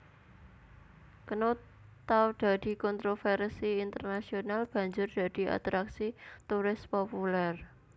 Knut tau dadi kontrovèrsi internasional banjur dadi atraksi turis populèr